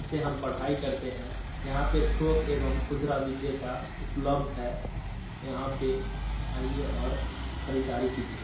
इससे हम पढ़ाई करते है। यहाँ पे थोक एवं खुदरा बिक्रेता उपलब्ध है। यहां पे आइये और खरीदारी कीजिये।